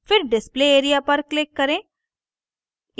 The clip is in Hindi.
फिर display area पर click करें